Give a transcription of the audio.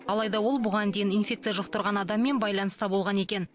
алайда ол бұған дейін инфекция жұқтырған адаммен байланыста болған екен